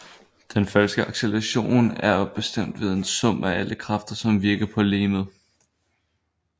Den faktiske acceleration er bestemt ved en sum af alle kræfter som virker på legemet